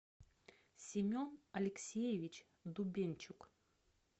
семен алексеевич дубенчук